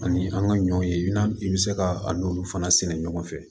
Ani an ka ɲɔw ye i bɛ se ka a n'olu fana sɛnɛ ɲɔgɔn fɛ